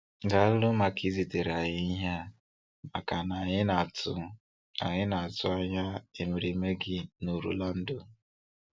Daalụ maka izitere anyị ihe a makana anyị na-atụ anyị na-atụ anya emereme gị n'Orlando!